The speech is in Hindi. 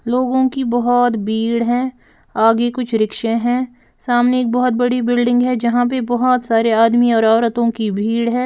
लोगों की बहुत भीड़ है आगे कुछ रिक्शे हैं सामने एक बहुत बड़ी बिल्डिंग है यहाँ पे बहुत सारे आदमी और औरतों की भीड़ हैं।